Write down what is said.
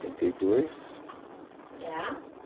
e dois. Que é a?